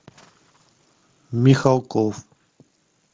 михалков